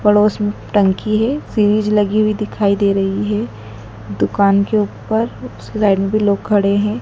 पड़ोस में टंकी है सीरीज लगी हुई दिखाई दे रही है दुकान के ऊपर साइड में भी लोग खड़े हैं।